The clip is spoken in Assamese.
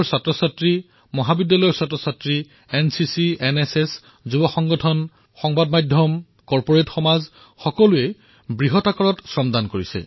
স্কুলীয়া শিক্ষাৰ্থী কলেজৰ শিক্ষাৰ্থী এনচিচি এনএছএছ যুৱ সংগঠন সংবাদ মাধ্যম উদ্যোগজগতৰ সকলোৱে স্বচ্ছতাৰ শ্ৰমদান প্ৰদান কৰিলে